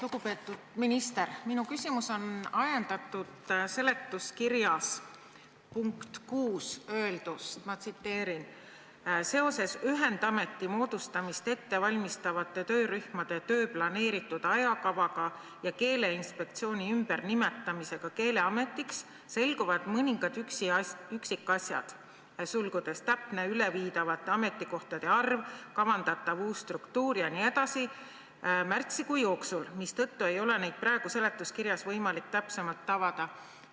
Lugupeetud minister, minu küsimus on ajendatud seletuskirja punktis 6 öeldust, ma tsiteerin: "Seoses ühendameti moodustamist ette valmistavate töörühmade töö planeeritud ajakavaga ja Keeleinspektsiooni ümbernimetamisega Keeleametiks selguvad mõningad üksikasjad 2020 märtsi jooksul, mistõttu ei ole neid praegu seletuskirjas võimalik täpsemalt avada.